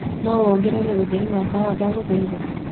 no wongerere utherĩ wa tawa ndagũhaĩtha